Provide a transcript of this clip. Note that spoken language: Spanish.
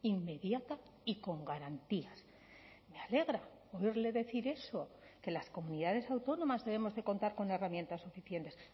inmediata y con garantías me alegra oírle decir eso que las comunidades autónomas debemos de contar con herramientas suficientes